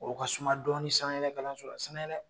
O ka suma dɔɔni sanayɛlɛ kalansola sanayɛlɛ